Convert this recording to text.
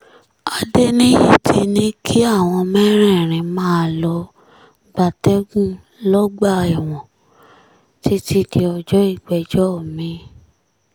adéníyí ti ní kí àwọn mẹ́rẹ̀ẹ̀rin máà lọ́ọ́ gbatẹ́gùn lọ́gbà ẹ̀wọ̀n títí di ọjọ́ ìgbẹ́jọ́ mi-ín